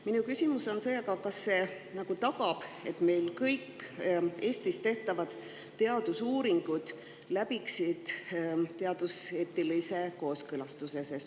Minu küsimus on see, kas see tagab, et kõik Eestis tehtavad teadusuuringud läbiksid teaduseetilise kooskõlastuse.